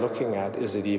í